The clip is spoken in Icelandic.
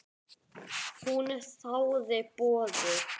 Hún þáði boðið.